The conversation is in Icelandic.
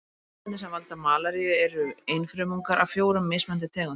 Sýklarnir sem valda malaríu eru einfrumungar af fjórum mismunandi tegundum.